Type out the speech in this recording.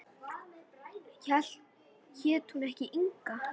Hét hún ekki Inga?